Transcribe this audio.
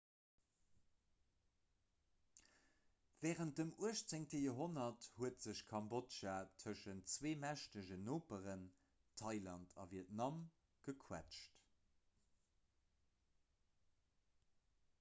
wärend dem 18 joerhonnert huet sech kambodja tëschent zwee mächteg noperen thailand a vietnam gequëtscht